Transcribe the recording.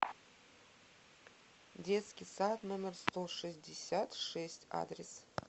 детский сад номер сто шестьдесят шесть адрес